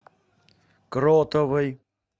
кротовой